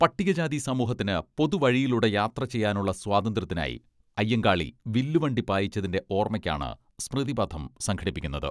പട്ടികജാതി സമൂഹത്തിന് പൊതുവഴിയിലൂടെ യാത്രചെയ്യാനുള്ള സ്വാതന്ത്ര്യത്തിനായി, അയ്യങ്കാളി വില്ലുവണ്ടി പായിച്ചതിന്റെ ഓർമ്മയ്ക്കാണ് സ്മൃതിപഥം സംഘടിപ്പിക്കുന്നത്.